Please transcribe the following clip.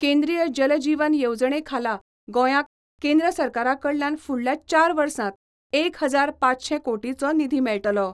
केंद्रीय जल जीवन येवजणेखाला गोंयाक केंद्र सरकाराकडल्यान फुडल्या चार वर्सांत एक हजार पांचशे कोटीचो निधी मेळटलो.